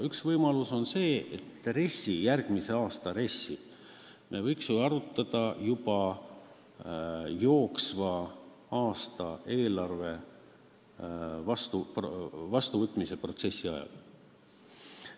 Üks on see, et järgmise aasta RES-i me võiksime arutada juba jooksva aasta eelarveprotsessi ajal.